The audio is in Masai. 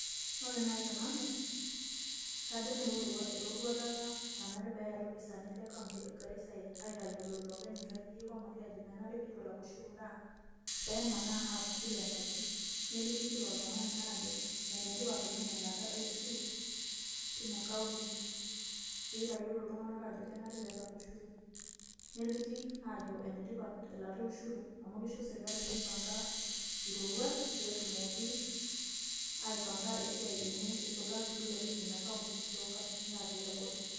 Ore nai te nanu kajo nai ewua eroruata nanare peeya ilopisaani le kaunti e Garissa aitayiolo iloopeny nkajijik o mali ajo menare piitu elek ushuru naa peemanaa aapuo kila enkaji neliki kila oltung'ani aajo ene tipat oleng' elaata e ushuru tina kaunti piitayiolo iltung'anak ajo kenare peelak ushuru. Neliki aajo ene tipat elaata e ushuru amu kisho serkali mipang'a iroruat peetumoki aipang'a esiai enye isulaki piilepunye ina kaunti too nkatitin natii abori.